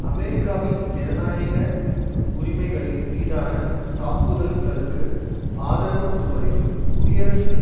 அமெரிக்காவில் ஜனநாயக உரிமைகளின் மீதான தாக்குதல்களுக்கு ஆதரவு கொடுப்பதிலும் குடியரசு